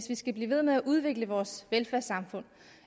vi skal blive ved med at udvikle vores velfærdssamfund